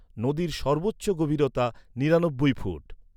নদীর সর্বোচ্চ গভীরতা নিরানব্বই ফুট।